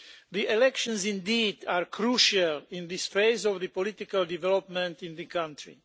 The elections are crucial in this phase of political development in the country.